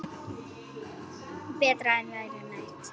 Berti var engu nær.